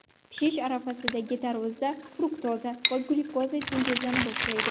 Pishish arafasidagi tarvuzda fruktoza va glyukoza sintezlana boshlaydi.